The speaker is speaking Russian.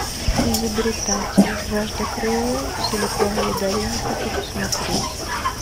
изобретатель жажда крови в силиконовой долине хочу посмотреть